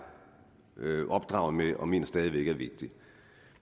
opdraget med og mener stadig væk er vigtigt